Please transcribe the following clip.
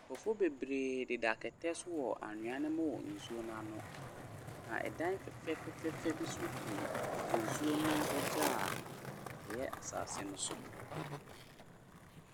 Nkrɔfoɔ bebree deda kɛtɛ so wɔ anhwea no mu wɔ nsuo no ano. Na fɛfɛɛfɛ bi nso gu nsuo no agya a ɛyɛ asɛse no so.